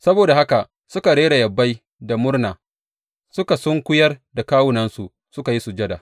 Saboda haka suka rera yabai da murna, suka sunkuyar da kawunansu suka yi sujada.